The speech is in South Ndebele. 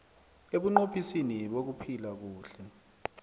ebunqophisini bokuphila kuhle